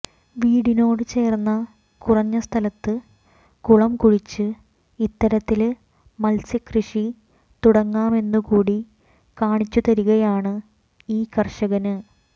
വീടിനോടുചേര്ന്ന കുറഞ്ഞസ്ഥലത്ത് കുളംകുഴിച്ച് ഇത്തരത്തില് മത്സ്യക്കൃഷി തുടങ്ങാമെന്നുകൂടി കാണിച്ചുതരികയാണ് ഈ കര്ഷകന്